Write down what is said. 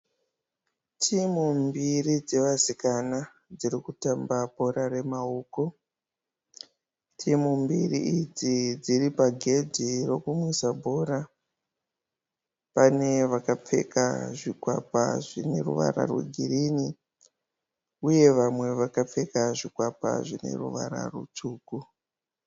Timhu mbiri dze vasikana dziri kutamba bhora re maoko. Timhu mbiri idzi dziri pagedhe rekumwisa bhora. Pane vakapfeka zvikwapa zvine ruvara rwegirini uye vamwe vakapfeka zvikwapa zvine ruvara rutsvuku.